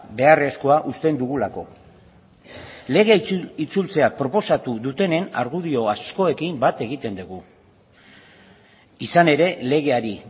beharrezkoa uste dugulako lege proiektua itzultzea proposatu dutenen argudio askorekin bat egiten dugu izan ere legeari